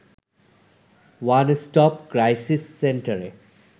one stop crisis সেন্টারে